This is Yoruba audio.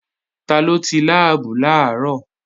Taló ti láàbù làárọ̀?